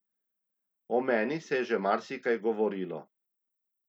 O meni se je že marsikaj govorilo.